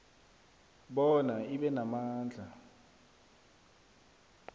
bona ibe namandla